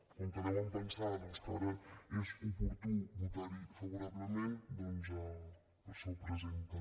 com que deuen pensar doncs que ara és oportú votar hi favorablement doncs per això ho presenten